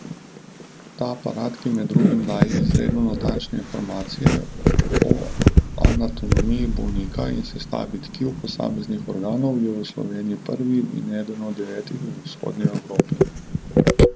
Ta aparat, ki, med drugim, daje izredno natančne informacije o anatomiji bolnika in sestavi tkiv posameznih organov, je v Sloveniji prvi in eden od devetih v vzhodni Evropi.